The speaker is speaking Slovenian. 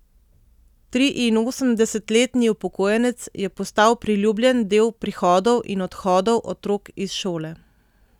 Triinosemdesetletni upokojenec je postal priljubljen del prihodov in odhodov otrok iz šole.